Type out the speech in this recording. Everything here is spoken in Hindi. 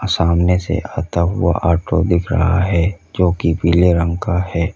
सामने से आता हुआ ऑटो दिख रहा है जो कि पीले रंग का है।